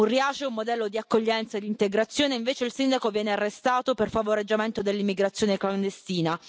Riace è un modello di accoglienza ed integrazione e invece il sindaco viene arrestato per favoreggiamento dell'immigrazione clandestina.